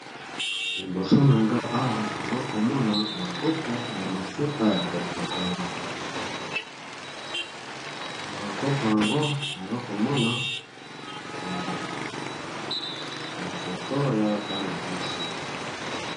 Liboso na nga awa naza komona bakopo ya mafuta ya kopakola na bakopo yango naza komona bafoto ya bana basi.